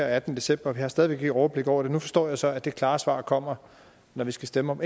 attende december og har stadig overblik over det nu forstår jeg så at det klare svar kommer når vi skal stemme om